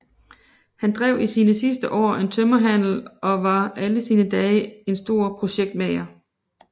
Han drev i sine sidste år en tømmerhandel og var alle sine dage en stor projektmager